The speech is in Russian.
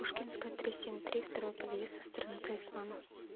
пушкинская три семь три второй подъезд со стороны талисмана